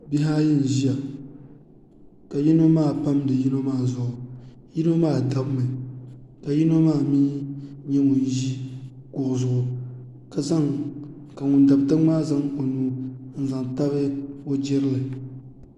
Bihi ayi n ʒiya ka yino maa pamdi yino maa zuɣu yino maa dabimi ka yino maa mii nyɛ ŋun ʒi kuɣu zuɣu ka ŋun dabi tiŋ maa zaŋ o nuu n zaŋ tabi o jirili